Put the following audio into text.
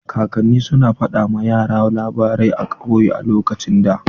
Kakanni su na fada ma yara labarai a kauye a lokacin da.